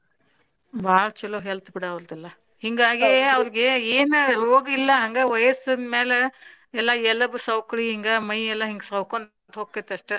ಬಾಳ್ ಚೊಲೊ health ಬಿಡ ಅವ್ರದೆಲ್ಲಾ ಹಿಂಗಾಗೆ ಅವ್ರಿಗೆ ಏನ ರೋಗ್ ಇಲ್ಲಾ ಹಂಗ ವಯಸ್ಸಿನ ಮ್ಯಾಲ ಎಲ್ಲಾ ಎಲಬ ಸವಕಳಿ ಹಿಂಗ ಎಲ್ಲಾ ಮೈ ಎಲ್ಲಾ ಸವಕೊಂತ್ ಹೊಂಕೇತಿ ಅಷ್ಟ.